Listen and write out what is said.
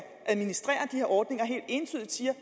administrere de her ordninger helt entydigt siger